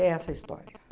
É essa história.